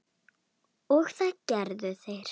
Og það gera þeir.